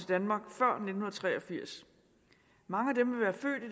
danmark før nitten tre og firs mange af dem er født i